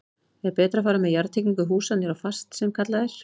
Er betra að fara með jarðtengingu húsa niður á fast sem kallað er?